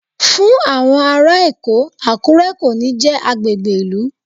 Fún àwọn ará Èkó, Àkúré kò ní jẹ́ agbègbè ìlú.